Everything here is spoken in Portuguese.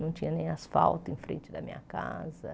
Não tinha nem asfalto em frente da minha casa.